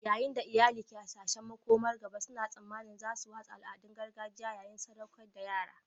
Yayin da iyali ke hasashen makomar gaba, suna tsammanin za su watsa al'adun gargajiya yayin sadaukar da yara